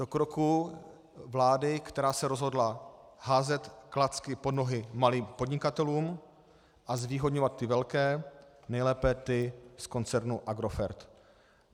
Do kroků vlády, která se rozhodla házet klacky pod nohy malým podnikatelům a zvýhodňovat ty velké, nejlépe ty z koncernu Agrofert.